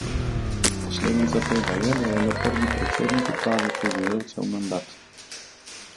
Posledica tega je, da je le prvi predsednik uprave preživel cel mandat.